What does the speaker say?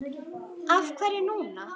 Af hverju núna?